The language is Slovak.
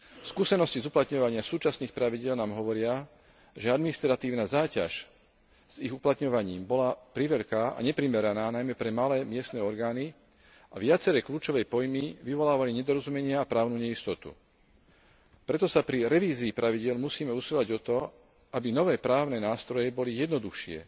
Skúsenosti z uplatňovania súčasných pravidiel nám hovoria, že administratívna záťaž vyplývajúca z ich uplatňovania bola priveľká a neprimeraná najmä pre malé miestne orgány a viaceré kľúčové pojmy vyvolávali nedorozumenia a právnu neistotu. Preto sa pri revízii pravidiel musíme usilovať o to, aby nové právne nástroje boli jednoduchšie,